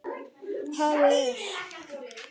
Hafið er